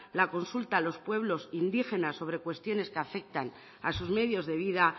la consulta a los pueblos indígenas sobre cuestiones que afectan a sus medios de vida